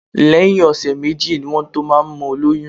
Lẹ́yìn ọ̀sẹ̀ méjì ni wọ́n tó máa ń mọ olóyún